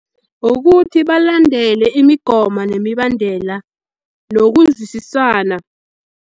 Ukuthi balandele imigomo nemibandela nokuzwisisana.